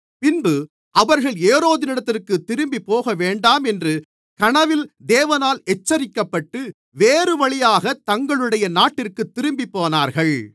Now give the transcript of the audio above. பின்பு அவர்கள் ஏரோதினிடத்திற்குத் திரும்பிப் போகவேண்டாம் என்று கனவில் தேவனால் எச்சரிக்கப்பட்டு வேறுவழியாகத் தங்களுடைய நாட்டிற்குத் திரும்பிப்போனார்கள்